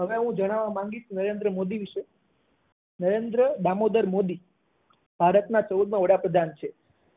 આજે હું ભણાવા માંગીશ નરેન્દ્ર મોદી વિશે નરેન્દ્ર દામોદર મોદી ભારત ના પૂર્વ વડાપ્રધાન છે